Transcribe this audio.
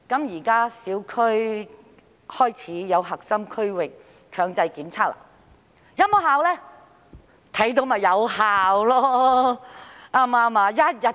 現時小區開始推行核心區域強制檢測，是否有效用呢？